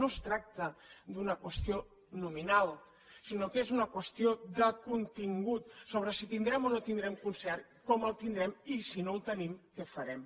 no es tracta d’una qüestió nominal sinó que és una qüestió de contingut sobre si tindrem o no tindrem concert com el tindrem i si no el tenim què farem